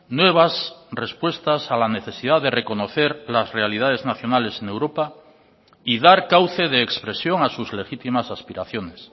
nuevas respuestas a la necesidad de reconocer las realidades nacionales en europa y dar cauce de expresión a sus legítimas aspiraciones